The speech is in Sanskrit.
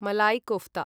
मलै कोफ्ता